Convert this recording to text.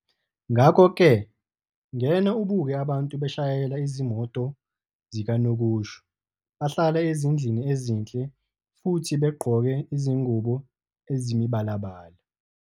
Ngakho-ke ngena ubuke abantu beshayela izimoto zikanokusho, bahlala ezindlini ezinhle futhi begqoke izingubo ezimibalabala ".